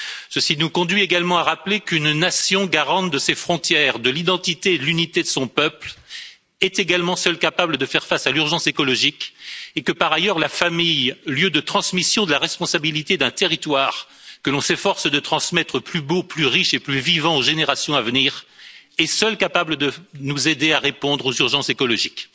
Ceci nous conduit également à rappeler qu'une nation garante de ses frontières, de l'identité et de l'unité de son peuple est également seule capable de faire face à l'urgence écologique et que, par ailleurs, la famille, lieu de transmission de la responsabilité d'un territoire, que l'on s'efforce de transmettre plus beau, plus riche et plus vivant aux générations à venir, est seule capable de nous aider à répondre aux urgences écologiques.